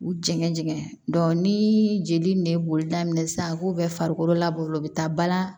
U jɛngɛ jɛngɛn ni jeli ne ye boli daminɛ sisan a k'o bɛɛ farikolo la u be taa balan